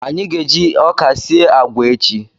Anyị ga-eji ọka sie agwa echi